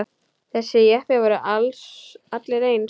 Þessir jeppar voru allir eins.